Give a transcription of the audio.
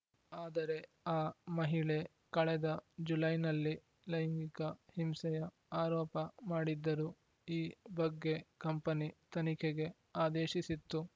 ಆದರೆ ಆ ಮಹಿಳೆ ಕಳೆದ ಜುಲೈನಲ್ಲಿ ಲೈಂಗಿಕ ಹಿಂಸೆಯ ಆರೋಪ ಮಾಡಿದ್ದರು ಈ ಬಗ್ಗೆ ಕಂಪನಿ ತನಿಖೆಗೆ ಆದೇಶಿಸಿತ್ತು